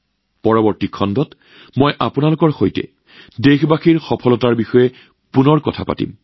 অহা বছৰ আমি আমাৰ দেশবাসীৰ বহু সফলতাৰ বিষয়ে আপোনালোকৰ লগত পুনৰ কথা পাতিম